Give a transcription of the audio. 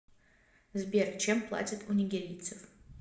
сбер чем платят у нигерийцев